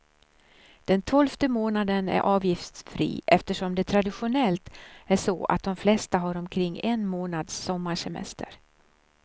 Den tolfte månaden är avgiftsfri, eftersom det traditionellt är så att de flesta har omkring en månads sommarsemester.